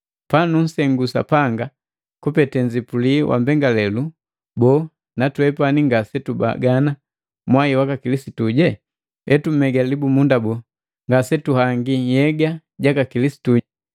Patunsengu Sapanga kupete nzipuli wa mbengalelu, boo, na twepani ngasetubagana mwai waka Kilisitu? Etumega libumunda boo, ngasetuhangi nhyega jaka Kilisitu?